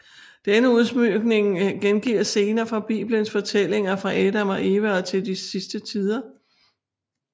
Denne udsmykning gengiver scener fra bibelens fortællinger fra Adam og Eva og til de sidste tider